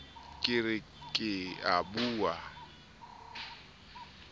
ke re ke a bua